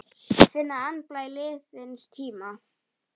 Finna andblæ liðins tíma.